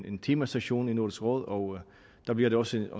en temasession i nordisk råd og der bliver der også